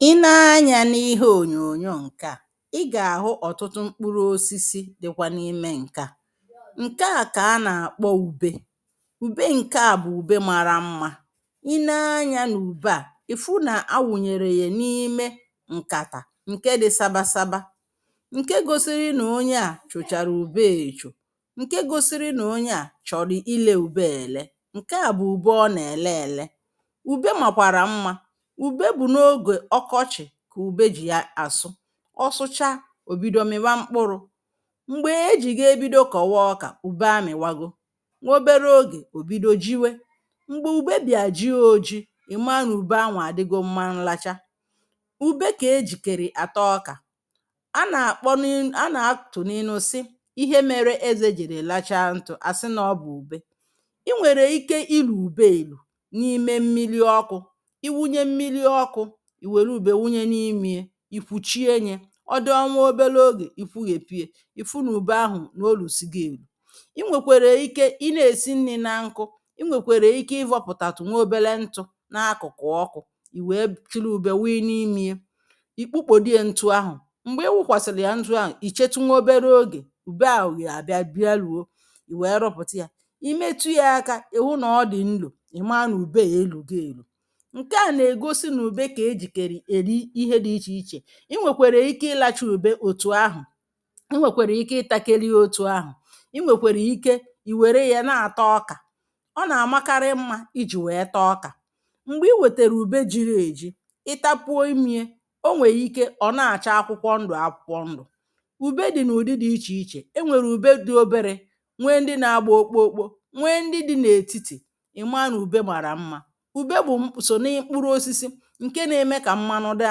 I nee anya n'ihe onyoonyo nkè a i ga ahụ ọtụtụ mkpụrụ osisi dịkwa n'ime nke a. Nkea ka ana akpọ ube. Ube nke a bụ ube màrà mmá. I nee anya na ube nke a ịfụ na awụnyere ya n'ime nkata nke dị saba saba, nkè gosiri ónyé a cho chárá ubee echo, nke gosiri na ónyé a chọrọ ile ube a ele. Nke a bụ ube ọna ele ele. Ube makwara mma. Ube bụ na ógè ọkọchi ka ube jị asụ, ọsụchaa obido miwa mkpụrụ. Mgbe eji ga ebido kọwa ọkà, ube amịwago, nwa ọbere ógè obido jiwe. Mgbe ube bịa jie oji I maa na ube anwụ adigo mma nlacha. Ube ka ejikerị ata ọkà. Ana akpọ ni ana atụ na ịnu si, ihe méré eze jiri lachaa ntụ asi na ọbụ ube. I nwèrè ike ilu ube elu n'ime mmili ọkụ, ị wunye mmili ọkụ i wéré ube wunye n' imie, ikwuchie nye odịa nwa ọbere ógè ikwuyepuye ịfụ na ube ahu na olusigo elu. I nwekwere ike I na esi nni na nkụ, I nwekwere ike ịvọpụtatụ nwa ọbere ntụ na akụkụ ọkụ, iwee chiri ube wii n'imie. I kpukpodie na ntụ ahụ. Mgbe iwukwasiri ya ntụ ahụ ichetu nwa ọbere ógè ube áhù ya bịa bịa luo, i wéé rụpụta ya. I metụ ya aka ịwụ na ọdị nlo, i maa na ube a elugo elu. Nke a na egosi na ube ka ejikeri eri ihe dị iche iche. I nwekwere ike ilacha ube otu ahụ, i nwekwere ike ị takeri ya otu ahụ, I nwekwéré ike i were ya na ata ọkà. Ọ na ama karị mma iji wéé taa ọkà. Mgbe i wetere ube jiri eji, i tapuo imie, ọnwere ike ọna acha akwụkwọ ndụ akwụkwọ ndụ. Ube dị na ụdị dị iche iche, enwere ube dị ọbere, nwee ndị ná agba okpokpo, nwee ndị dị na étíti, I maa na ube màrà mmá, ube bụm só na mkpụrụ osisi nke na eme ka mmanụ dị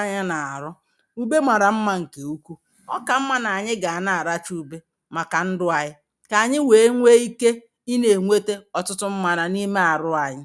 anyị na arụ. Ube màrà mmá nke ukwuu. Ọka mma na anyị ga na aracha ube maka ndụ anyị. Kà anyị wéé nwee ike ina enwete ọtụtụ mmana n'ime arụ anyị.